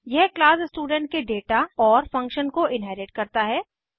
यह class student के data और फंक्शन को इन्हेरिट करता है